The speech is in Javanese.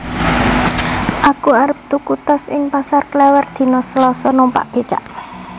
Aku arep tuku tas ing Pasar Klewer dino Selasa numpak becak